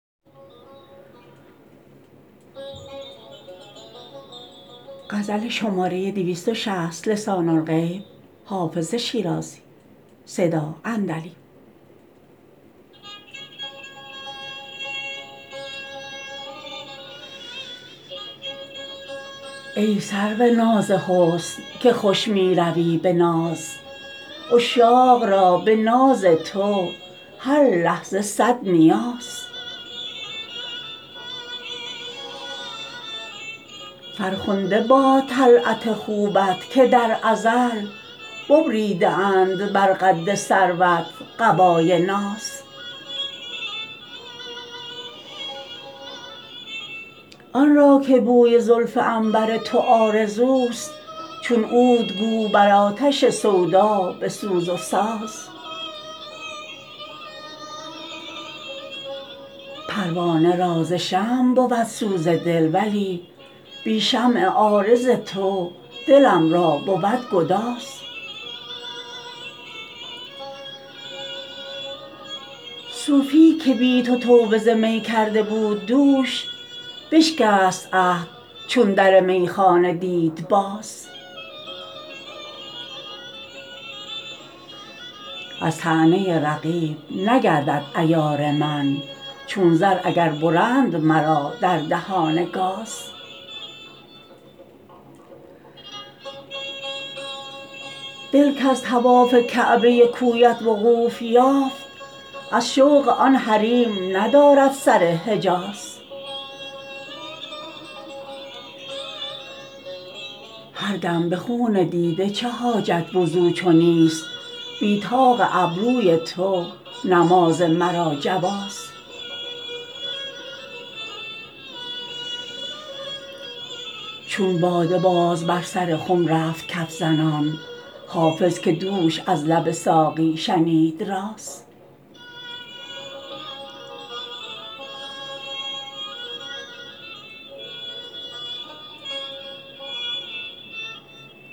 ای سرو ناز حسن که خوش می روی به ناز عشاق را به ناز تو هر لحظه صد نیاز فرخنده باد طلعت خوبت که در ازل ببریده اند بر قد سروت قبای ناز آن را که بوی عنبر زلف تو آرزوست چون عود گو بر آتش سودا بسوز و ساز پروانه را ز شمع بود سوز دل ولی بی شمع عارض تو دلم را بود گداز صوفی که بی تو توبه ز می کرده بود دوش بشکست عهد چون در میخانه دید باز از طعنه رقیب نگردد عیار من چون زر اگر برند مرا در دهان گاز دل کز طواف کعبه کویت وقوف یافت از شوق آن حریم ندارد سر حجاز هر دم به خون دیده چه حاجت وضو چو نیست بی طاق ابروی تو نماز مرا جواز چون باده باز بر سر خم رفت کف زنان حافظ که دوش از لب ساقی شنید راز